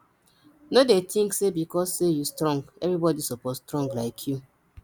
no dey think say because sey you strong everybody suppose strong like you